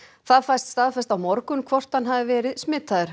það fæst staðfest á morgun hvort hann hafi verið smitaður